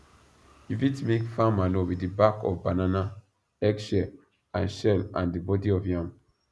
you fit make farm manure with the back of banana egg shell and shell and the body of yam